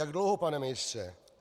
Jak dlouho, pane ministře?